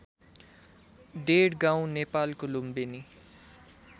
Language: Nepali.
डेढगाउँ नेपालको लुम्बिनी